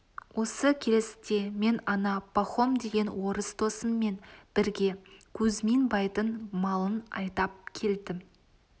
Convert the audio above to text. осы келісте мен ана пахом деген орыс досыммен бірге кузьмин байдың малын айдап келдім